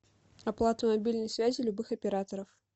оплата мобильной связи любых операторов